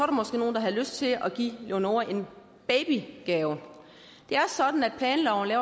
måske nogen der havde lyst til at give leonora en babygave det er sådan at planloven